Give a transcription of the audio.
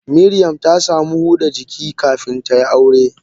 Miriam ta samu huda jiki kafin tayi aure.